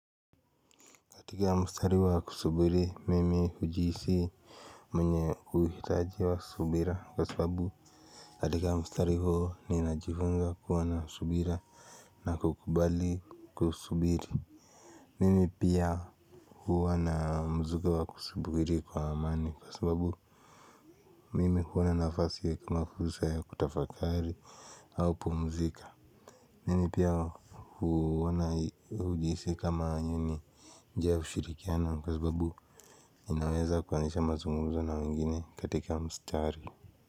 Katika mstari wa kusubiri, mimi hujihisi mwenye kuhitaji wa subira kwa sababu katika mstari huo ni najifunza kuwana subira na kukubali kusubiri. Mimi pia huwana mzuka wa kusubiri kwa amani kwa sababu mimi huwana nafasi wa kumakuzusa ya kutafakari haupu mzika. Mimi pia huona hujihisi kama inyo ni njia ya ushirikiano kwa sababu inaweza kuanzisha mazungumzo na wengine katika mstari.